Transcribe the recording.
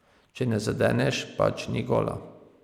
Če ne zadeneš, pač ni gola.